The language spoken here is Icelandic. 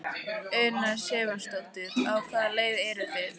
Una Sighvatsdóttir: Á hvaða leið eru þið?